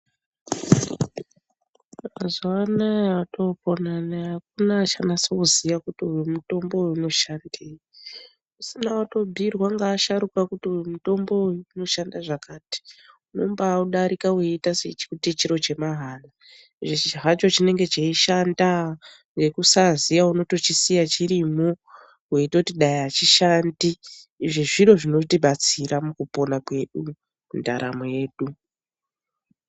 Mazuwa anaya otopona anaya hakuna uchanasa kuziya kuti mutombo uyu inoshandei. Usina kutobhiirwa ngevasharuka kuti uyu mutombo uyu unoshanda zvakati, unombaaudarika uchiti chiro chemahara. Icho hacho chinenge cheishanda, ngekusaziya unosiya chirimwo weitoti dai achishandi. Izvo zviro zvinotibatsira mukupona kwedu, mundaramo yedu.